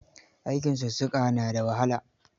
Aikin sussuka na da wahala.